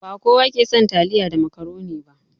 Ba kowa ke son taliya da macaroni ba.